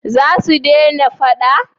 za su dena fada?